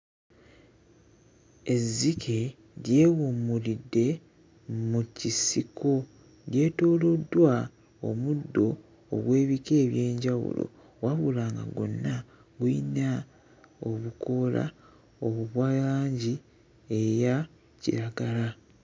Ezzike lyewummulidde mu kisiko. Lyetooloddwa omuddo ogw'ebika eby'enjawulo wabula nga gwonna guyina obukoola obwa langi eya kiragala.